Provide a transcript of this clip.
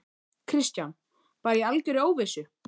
Kristján: Bara í algjörri óvissu?